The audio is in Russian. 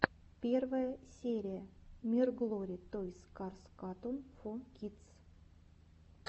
первая серия мирглори тойс карс катунс фо кидс